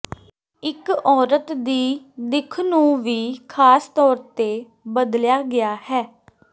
ਇਕ ਔਰਤ ਦੀ ਦਿੱਖ ਨੂੰ ਵੀ ਖਾਸ ਤੌਰ ਤੇ ਬਦਲਿਆ ਗਿਆ ਹੈ